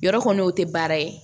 Yɔrɔ kɔni o tɛ baara ye